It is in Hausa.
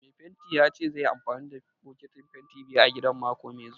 Mai fentin ya ce zaiyi amfani da bokitin fentin biyu a gidan mako mai zuwa.